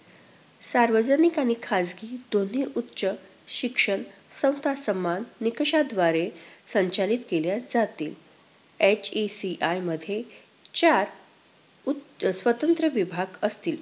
सार्वजनिक आणि खाजगी दोन्ही उच्च शिक्षण समता समान, निकषांद्वारे संचलित केले जातील. HECI मध्ये चार स्वतंत्र विभाग असतील.